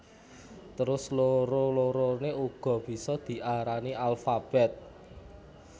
Terus loro loroné uga bisa diarani alfabèt